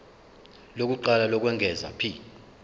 lokuqala lokwengeza p